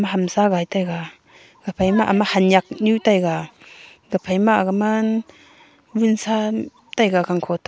hamsa gai taiga haphai ma wunsa taiga gangkho toh a.